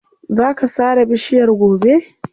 Za ka sare bishiyar gobe.